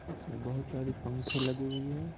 इसमें बहुत सारी पंखे लगी हुई हैं ।